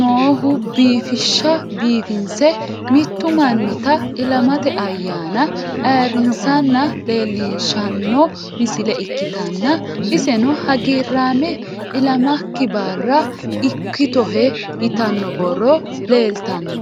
noohubiifishsha biifinse mittu mannita ilamate ayyaana ayiirrinsanna leellishshanno misile ikkitanna, iseno hagiirraame ilamakki barra ikkitohe yitanno borro leeltanno.